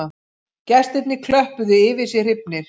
Gestirnir klöppuðu yfir sig hrifnir